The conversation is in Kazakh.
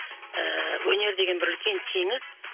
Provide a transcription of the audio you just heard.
ыыы өнер деген бір үлкен теңіз